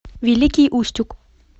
великий устюг